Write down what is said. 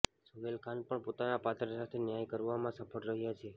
સોહેલ ખાન પણ પોતાના પાત્ર સાથે ન્યાય કરવામાં સફળ રહ્યાં છે